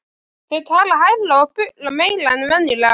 Þau tala hærra og bulla meira en venjulega.